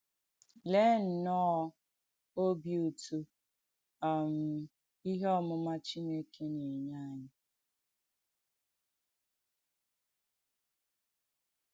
Leè nnọ̣́ọ̀ òbì ùtù um “ìhé ọ̀mùmà Chìnèkè” nà-ènyè ànyị̣!